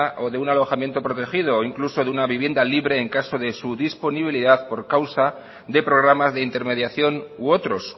o de un alojamiento protegido incluso de una vivienda libre en caso de su disponibilidad por causa de programas de intermediación u otros